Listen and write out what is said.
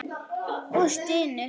Og stynur.